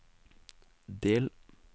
del